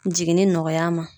Jiginni nɔgɔya a ma.